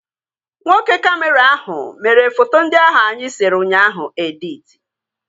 Nwoke kamịra ahụ mere foto ndị ahụ anyị sere ụnyaahụ editi